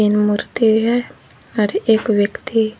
मूर्ति है और एक व्यक्ति--